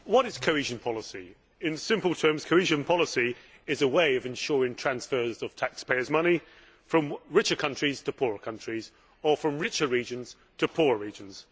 Mr President, what is cohesion policy? In simple terms, cohesion policy is a way of ensuring transfers of taxpayers' money from richer countries to poorer countries or from richer regions to poorer regions.